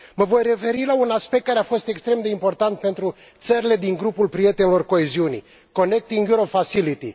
Mă voi referi la un aspect care a fost extrem de important pentru țările din grupul prietenilor coeziunii Connecting Europe Facility.